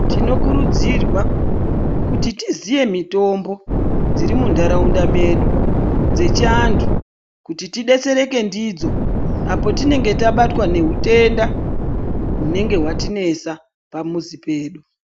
Tinokurudzirwa, kuti tiziye mitombo dziri muntharaunda medu, dzechiantu kuti tidetsereke ndidzo ,apo tinenge tabatwa nehutenda ,hunenge hwatinesa ,pamuzi pedu.